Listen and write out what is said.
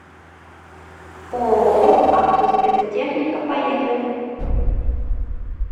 ооо автоспецтехника поехали